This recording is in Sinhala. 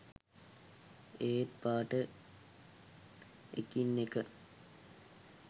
ඒත් පාට එකිනෙක